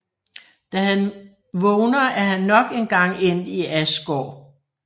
Da han vågner er han nok en gang endt i Asgård